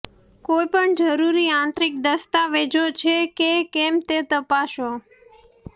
કોઈપણ જરૂરી આંતરિક દસ્તાવેજો છે કે કેમ તે તપાસો